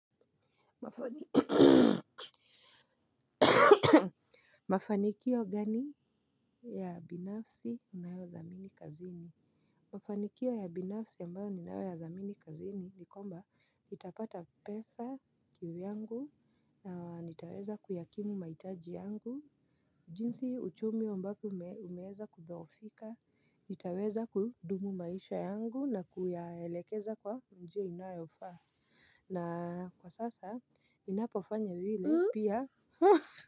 Mafanikio gani ya binafsi ninayo dhamini kazini. Mafanikio ya binafsi ambayo ni nayo ya dhamini kazini. Nikomba utapata pesa kivyangu. Nitaweza kuyakimu mahitaji yangu. Jinsi uchumi ambako umeweza kudhoofika nitaweza kudumu maisha yangu na kuyaelekeza kwa njia inayofaa na kwa sasa inapofanya vile pia. Ha!